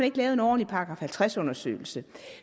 ikke lavet en ordentlig § halvtreds undersøgelse